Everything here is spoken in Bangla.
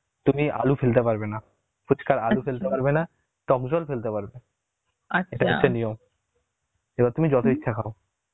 তুমি আলু আলু ফেলতে পারবে না ফুচকার আলু ফেলতে পারবে না, টক জল ফেলতে পারবে , এবার তুমি যত ইচ্ছা খাও